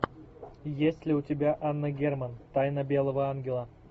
есть ли у тебя анна герман тайна белого ангела